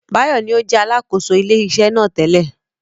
Báyọ̀ ní ó jẹ́ Alákóso ilé iṣẹ́ náà tẹ́lẹ̀